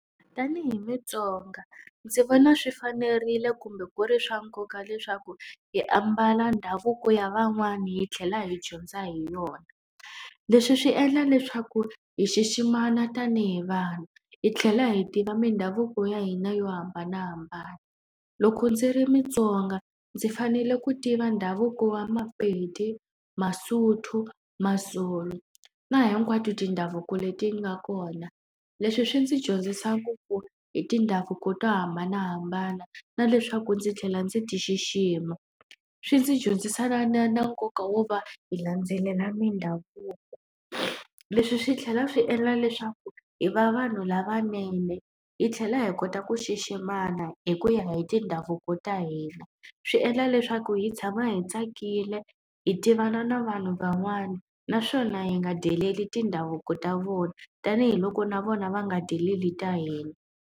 Tanihi muTsonga ndzi vona swi fanerile kumbe ku ri swa nkoka leswaku hi ambala ndhavuko ya van'wani hi tlhela hi dyondza hi yona. Leswi swi endla leswaku hi xiximana tanihi vanhu, hi tlhela hi tiva mindhavuko ya hina yo hambanahambana. Loko ndzi ri muTsonga ndzi fanele ku tiva ndhavuko wa maPedi, vaSotho, maZulu na hinkwato tindhavuko leti nga kona. Leswi swi ndzi dyondzisa ngopfu hi tindhavuko to hambanahambana, na leswaku ndzi tlhela ndzi ti xixima. Swi ndzi dyondzisana na na na nkoka wo va hi landzelela mindhavuko. Leswi swi tlhela swi endla leswaku hi va vanhu lavanene hi tlhela hi kota ku xiximana hi ku ya hi tindhavuko ta hina. Swi endla leswaku hi tshama hi tsakile, hi tivana na vanhu van'wana, naswona hi nga deleli tindhavuko ta vona tanihiloko na vona va nga deleli ta hina.